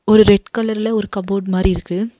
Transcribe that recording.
ஒரு ரெட் கலர்ல ஒரு காபோட் மாரி இருக்கு.